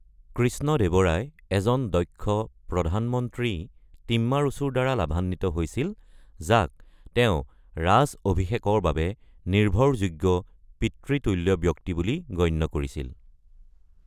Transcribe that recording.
কৃষ্ণদেৱৰায় এজন দক্ষ প্ৰধানমন্ত্ৰী টিম্মাৰুচুৰ পৰা লাভান্বিত হৈছিল, যাক তেওঁ ৰাজ অভিষেকৰ বাবে নিৰ্ভৰযোগ্য পিতৃতুল্য ব্যক্তি বুলি গণ্য কৰিছিল।